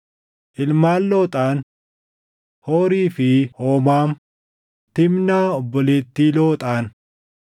Ilmaan Looxaan: Hoorii fi Hoomaam, Tiimnaa obboleettii Looxaan.